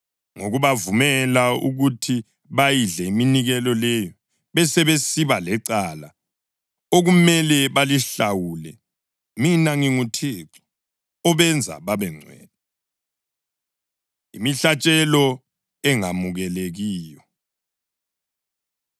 ngokubavumela ukuthi bayidle iminikelo leyo, besebesiba lecala okumele balihlawule. Mina nginguThixo obenza babengcwele.’ ” Imihlatshelo Engemukelekiyo